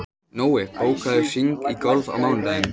Nói, bókaðu hring í golf á mánudaginn.